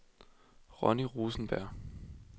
Ronni Rosenberg